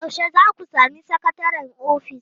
Yaushe za ku sami sakataren ofis?